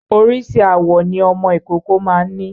Oríṣi àwọ̀ ni ọmọ ìkókó ma ń ní.